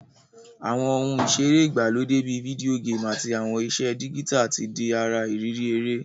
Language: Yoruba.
Àwon oun ìseré ìgbàlódé bi video game àtí àwon ìse digital ti di ara ìrírí eré won